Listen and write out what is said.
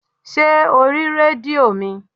Ṣé o rí rédíò mi?